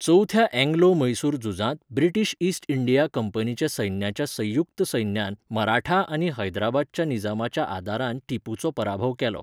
चवथ्या अँग्लो म्हैसूर झुजांत British East India कंपनीच्या सैन्याच्या संयुक्त सैन्यान मराठा आनी हैदराबादच्या निजामाच्या आदारान टिपूचो पराभव केलो.